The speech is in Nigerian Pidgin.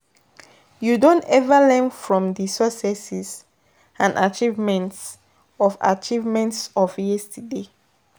You don ever learn from di successes and achievements of achievements of yesterday?